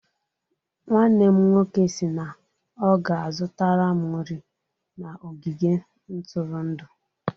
Nwanne m nwoke si na ọ ga-azụtara m nri na ogige ntụrụndụ.